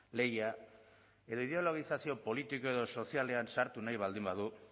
lehia edo ideologizazio politiko edo sozialean sartu nahi baldin badu